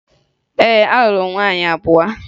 Ee, alụrụ m nwaanyị abụọ